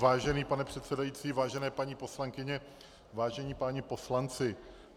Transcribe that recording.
Vážený pane předsedající, vážené paní poslankyně, vážení páni poslanci.